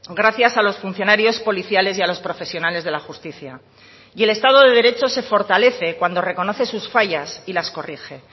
gracias a los funcionarios policiales y a los profesionales de la justicia y el estado de derecho se fortalece cuando reconoce sus fallas y las corrige